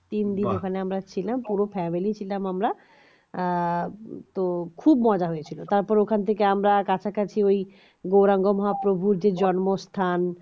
তিনদিন ওখানে আমরা ছিলাম পুরো family ছিলাম আমরা তো খুব মজা হয়েছিল তারপরে ওখান থেকে আমরা কাছাকাছি ওই গৌরাঙ্গ মহাপ্রভুর যে জন্মস্থান